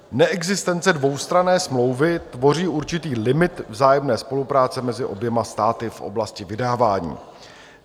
Neexistence dvoustranné smlouvy tvoří určitý limit vzájemné spolupráce mezi oběma státy v oblasti vydávání.